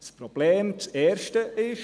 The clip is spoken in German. Das erste Problem ist: